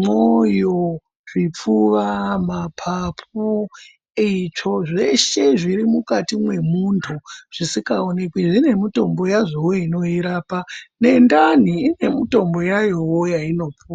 mwoyo zvipfuwa mapapu eyitsvo zveshe zviri mukati mwe muntu zvisika onekwi zvine mutombo yazvowo ino irapa ne ndani ine mutombo yayowo yaino puwa.